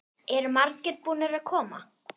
Eru margir búnir að koma?